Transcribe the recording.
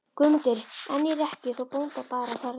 Guðmundur enn í rekkju þá bónda bar að garði.